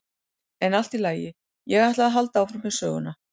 En allt í lagi, ég ætla að halda áfram með söguna.